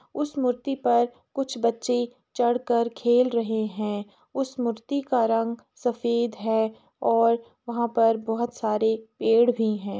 उस मूर्ति पर कुछ बच्चे चढ़ कर खेल रहे हैं। उस मूर्ति का रंग सफ़ेद है और वहां पर बहोत सारे पेड़ भी हैं।